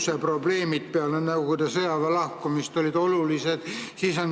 Ma mäletan, et omal ajal, peale Nõukogude sõjaväe lahkumist, olid kiirguseprobleemid olulised.